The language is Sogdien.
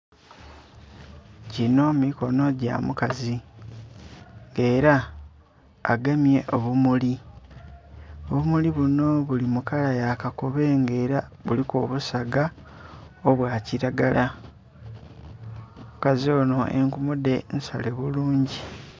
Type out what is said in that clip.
Ginho mikono gya mukazi era agemye obumuli, obumuli bunho buli mu kala ya kakobe nga era buliku obusaga obwa kilagala, omukazi onho enkulu dhe nsale bulungi.